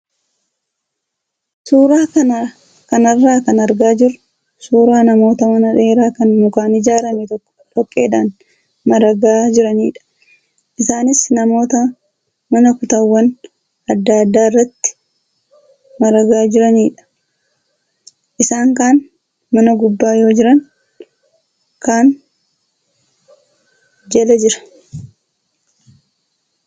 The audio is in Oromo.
Suuraa kanarraa kan argaa jirru suuraa namoota mana dheeraa kan mukaan ijaarame tokko dhoqqeedhaan maragaa jiranidha. Isaanis namoota mana kutaawwan adda addaa irratti maragaa jiranidha. Isaan kaan mana gubbaa yoo jiran kaan jala jira.